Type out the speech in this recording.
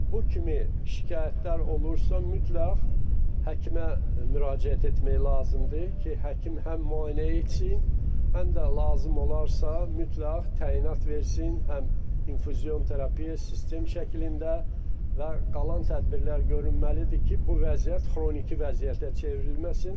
Bu kimi şikayətlər olursa, mütləq həkimə müraciət etmək lazımdır ki, həkim həm müayinə etsin, həm də lazım olarsa, mütləq təyinat versin, həm infuzion terapiya sistem şəklində və qalan tədbirlər görülməlidir ki, bu vəziyyət xroniki vəziyyətə çevrilməsin.